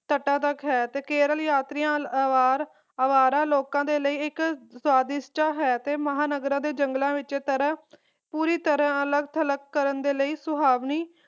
ਤਤਾਤਕ ਹੈ ਦਾ ਹੈ ਤੇ ਕੇਰਲ ਯਾਤਰੀਆਂ ਅਵਾਰਾ ਲੋਕ ਦੇ ਲਈ ਇੱਕ ਹੈ ਤੇ ਮਹਾਨਗਰਾਂ ਦੇ ਜੰਗਲਾਂ ਵਿਚ ਤਰ੍ਹਾਂ ਪੂਰੀ ਤਰ੍ਹਾਂ ਅਲਕ ਥਲਕ ਕਰਨ ਦੇ ਲਈ ਇਕ ਸੁਹਾਵਣੀ